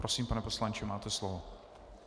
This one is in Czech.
Prosím, pane poslanče, máte slovo.